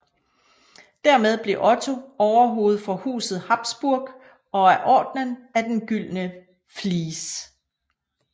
Dermed blev Otto overhoved for huset Habsburg og af Ordenen af den gyldne Vlies